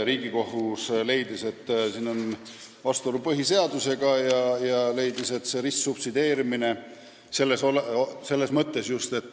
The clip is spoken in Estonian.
Riigikohus leidis, et on vastuolu põhiseadusega ja toimub ristsubsideerimine.